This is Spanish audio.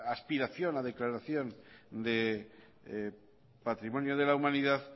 aspiración a declaración de patrimonio de la humanidad